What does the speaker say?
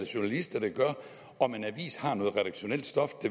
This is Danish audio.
journalister der gør om en avis har noget redaktionelt stof